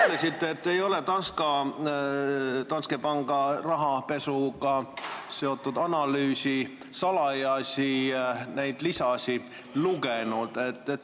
Te ütlesite, et te pole Danske panga rahapesuga seotud analüüsi salajasi lisasid lugenud.